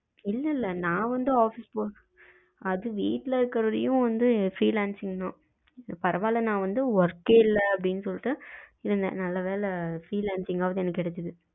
இல்ல இல்ல நா வந்து ஆபீஸ் போக அது வீட்டுல இருக்குற வரையும் வந்து freelancing தான் பரவாயில்ல நா வந்து work கே இல்ல அப்படின்னு சொல்லிட்டு இருந்தேன் நல்ல வேல freelancing காவது எனக்கு கிடைச்சது.